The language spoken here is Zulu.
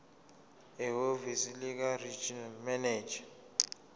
ehhovisi likaregional manager